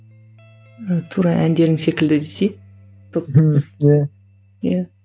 тура әндерің секілді десей топ иә иә